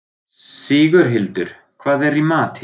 Sigurhildur, hvað er í matinn?